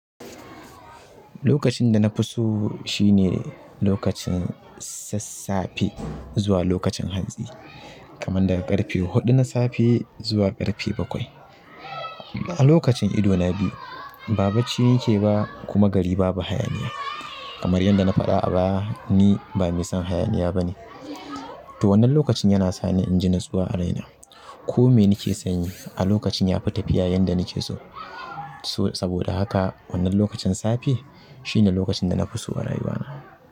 Lokacin da na fi so shine lokacin sassafe zuwa lokacin hantsi, kamar daga ƙarfe huɗu na safe zuwa ƙarfe bakwai. A lokacin ido na biyu, ba bacci nake ba kuma gari babu hayaniya. Kamar yadda na faɗa a baya, ni ba mai son hayaniya bane. To wannan lokacin yana sani in ji natsuwa a raina. Ko mene nake sanyi a lokacin yafi tafiya yanda nake so. Saboda haka wannan lokacin safe shine lokacin da na fi so a rayuwa na.